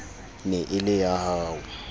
ne e le ya ho